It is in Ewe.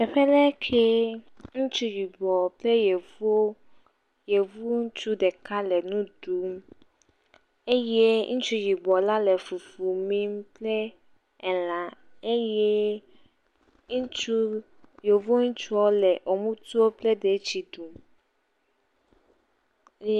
Teƒe ɖee kee, ŋutsu yibɔɔ kple yevu, yevu ŋutsu ɖeka le nu ɖuum. Eye ŋutsu yibɔla le fufu miim kpl elã eyee ŋutsu, yevu ŋutsuɔ le emutuo kple detsi ɖum eye.